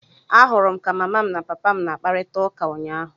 Ahụrụ m ka mama m na papa m na-akparịta ụka ụnyaahụ.